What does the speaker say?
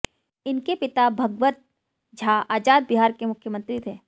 इनके पिता भगवत झा आजाद बिहार के मुख्यमंत्री थे